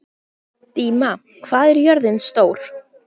Díma, hvað er jörðin stór?